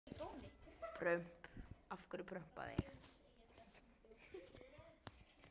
Kristján Már: Hvað með landbúnaðarmálin?